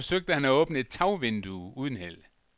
Her forsøgte han at åbne et tagvindue uden held.